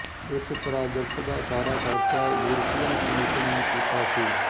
ਇਸ ਪ੍ਰਾਜੈਕਟ ਦਾ ਸਾਰਾ ਖਰਚਾ ਯੂਰਪੀਅਨ ਕਮਿਸ਼ਨ ਨੇ ਕੀਤਾ ਸੀ